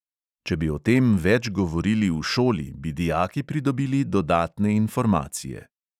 Če bi o tem več govorili v šoli, bi dijaki pridobili dodatne informacije.